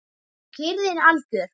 Og kyrrðin algjör.